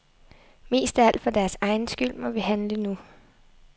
Mest af alt for deres egen skyld må vi handle nu.